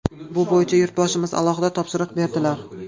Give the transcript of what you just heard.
Bu bo‘yicha Yurtboshimiz alohida topshiriq berdilar.